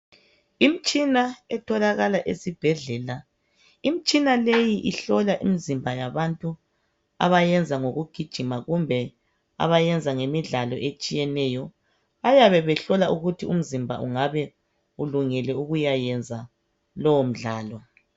Imitshina etholakala esibhedlela. Imitshina leyi ihlola imizimba yabantu abayenza ngokugijima kumbe abayenza ngemidlalo etshiyeneyo. Bayabe behlola ukuthi umzimba ungabe ulungele ukuyayenza lowo mdlalo.